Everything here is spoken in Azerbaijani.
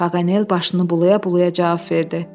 Paqanel başını bulaya-bulaya cavab verdi.